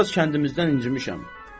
Mən biraz kəndimizdən incimişəm.